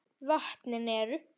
Vötnin eru